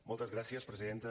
moltes gràcies presidenta